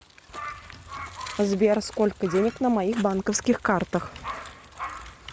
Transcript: сбер сколько денег на моих банковских картах